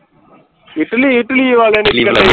Italy Italy ਵਾਲੇ ਨੇ